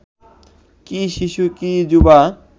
কি শিশু কি যুবা